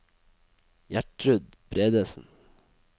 Gjertrud Bredesen